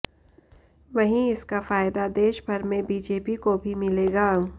वहीं इसका फायदा देशभर में बीजेपी को भी मिलेगा